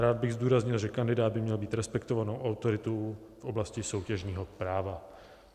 Rád bych zdůraznil, že kandidát by měl být respektovanou autoritou v oblasti soutěžního práva.